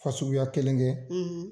Fa suguya kelen kɛ, .